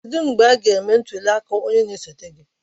Kedụ mgbe a ga-eme ntuli aka na-esote?